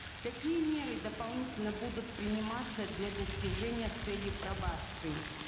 какие меры дополнительно будут приниматься для достижения цели пробации